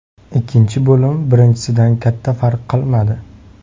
Ikkinchi bo‘lim birinchisidan katta farq qilmadi.